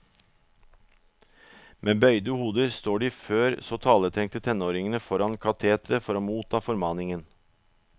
Med bøyde hoder står de før så taletrengte tenåringene foran kateteret for å motta formaningen.